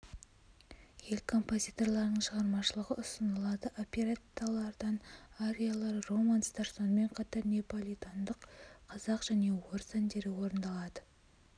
ел композиторларының шығармашылығы ұсынылады оперетталардан ариялар романстар сонымен қатар неополитандық қазақ және орыс әндері орындалады